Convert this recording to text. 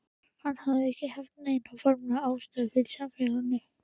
Hún hafði ekki haft neina formlega stöðu í samfélaginu.